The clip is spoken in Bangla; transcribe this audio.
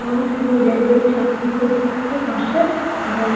এবং তিনি railway চাকরির পরীক্ষায় বসেন এবং